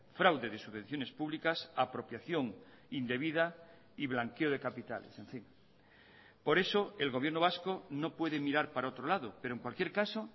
fraude de subvenciones públicas apropiación indebida y blanqueo de capitales en fin por eso el gobierno vasco no puede mirar para otro lado pero en cualquier caso